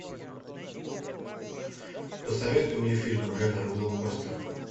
посоветуй мне фильм жанра блокбастер